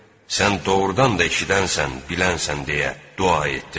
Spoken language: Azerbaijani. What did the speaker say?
Sən doğurdan da eşidənsən, bilənsən deyə dua etdilər.